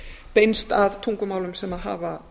beinst að tungumálum sem hafa